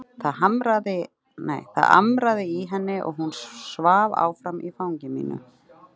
Það amraði í henni og hún svaf áfram í fangi mínu.